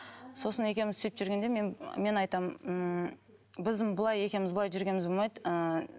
сосын екеуміз сөйтіп жүргенде мен мен айтамын ммм біздің былай екеуміз былай жүргеніміз болмайды ыыы